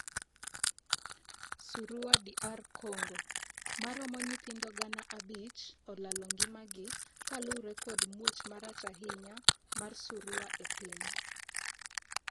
Surua DR Congo:Maromo nyithindo gana abich olalo ngima gi kaluore kod muoch marach ahinya mar Surua epiny.